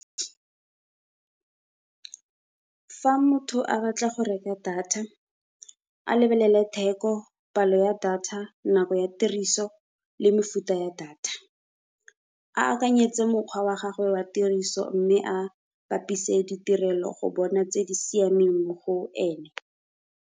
Fa motho a batla go reka data a lebelele theko palo ya data nako ya tiriso le mefuta ya data. A akanyetse mokgwa wa gagwe wa tiriso, mme a bapise ditirelo go bona tse di siameng mo go ene.